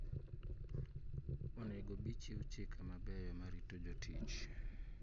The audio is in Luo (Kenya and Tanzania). Onego bi chiw chike mabeyo marito jotich.